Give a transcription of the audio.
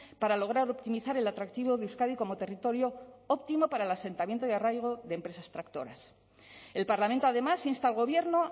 para lograr optimizar el atractivo de euskadi como territorio óptimo para el asentamiento de arraigo de empresas tractoras el parlamento además insta al gobierno